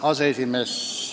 Hea aseesimees!